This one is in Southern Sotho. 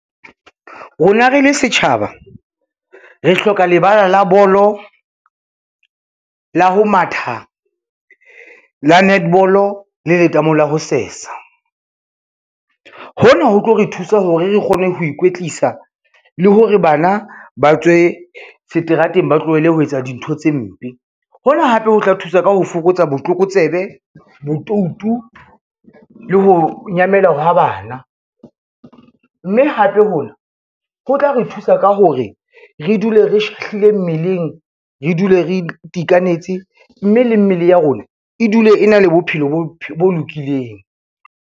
Rona re le setjhaba, re hloka lebala la bolo, la ho matha, la netball-o, le letamo le ho sesa. Hona ho tlo re thusa hore re kgone ho ikwetlisa le hore bana ba tswe seterateng ba tlohele ho etsa dintho tse mpe. Hona hape ho tla thusa ka ho fokotsa botlokotsebe, botoutu le ho nyamela ha bana, mme hape ho na ho tla re thusa ka hore re dule re shahlile mmeleng, re dule re itekanetse, mme le mmele ya rona e dule e na le bophelo bo lokileng.